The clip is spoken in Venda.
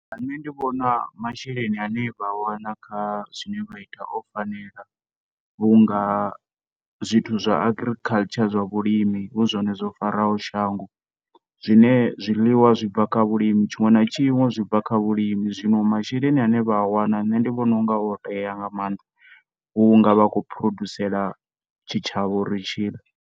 Ṋne ndi vhona masheleni ane vha a wana kha zwine vha ita o fanela vhunga zwithu zwa agriculture zwa vhulimi hu zwone zwo faraho shango zwine zwiliwa zwi bva kha vhulimi tshiṅwe na tshiṅwe zwi bva kha vhulimi zwino masheleni ane vha vha a wana ṋne ndi vhona unga o tea nga mannḓa vhunga vha khou produsela tshi tshavha uri tshiḽe.